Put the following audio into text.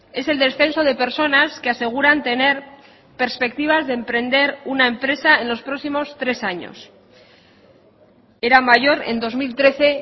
es el descenso de personas que aseguran tener perspectivas de emprender una empresa en los próximos tres años era mayor en dos mil trece